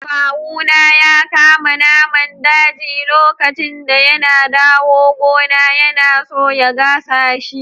Kawu na ya kama naman daji lokacin da yana dawo gona. Yana so ya gasa shi.